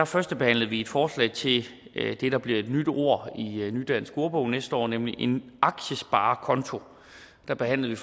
førstebehandlede vi et forslag til det der bliver et nyt ord i nudansk ordbog næste år nemlig en aktiesparekonto der behandlede